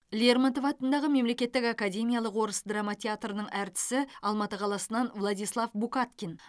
лермонтов атындағы мемлекеттік академиялық орыс драма театрының әртісі алматы қаласынан владислав букаткин